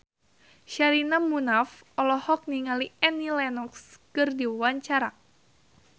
Sherina Munaf olohok ningali Annie Lenox keur diwawancara